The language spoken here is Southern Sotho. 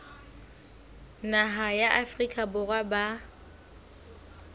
naha ya afrika borwa ba